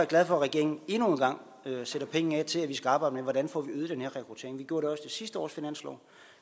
glad for at regeringen endnu en gang sætter penge af til at vi skal arbejde med hvordan vi får øget den her rekruttering vi gjorde med sidste års finanslov